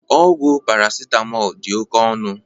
Ọgwụ paracetamol dị oke ọnụ